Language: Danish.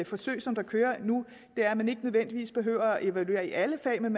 forsøg som kører nu er at man ikke nødvendigvis behøver at evaluere i alle fag men